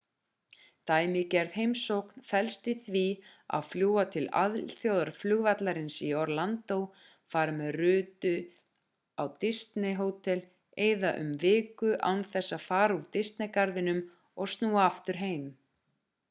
dæmigerð heimsókn felst í því að fljúga til alþjóðaflugvallarins í orlando fara með rútu á disney-hótel eyða um viku án þess að fara úr disney-garðinum og snúa aftur heim